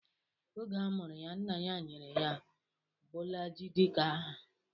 Oge a mụrụ ya, nna ya nyere ya Bolaji dika aha.